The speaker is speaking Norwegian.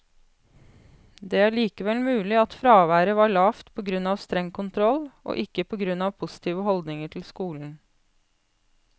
Det er likevel mulig at fraværet var lavt på grunn av streng kontroll, og ikke på grunn av positive holdninger til skolen.